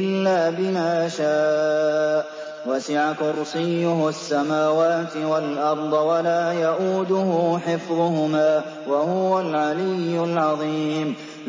إِلَّا بِمَا شَاءَ ۚ وَسِعَ كُرْسِيُّهُ السَّمَاوَاتِ وَالْأَرْضَ ۖ وَلَا يَئُودُهُ حِفْظُهُمَا ۚ وَهُوَ الْعَلِيُّ الْعَظِيمُ